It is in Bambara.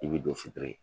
I bi don